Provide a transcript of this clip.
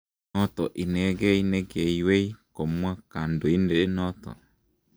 Noto inegei ne keywei, komwa kandondenoto